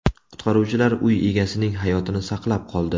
Qutqaruvchilar uy egasining hayotini saqlab qoldi.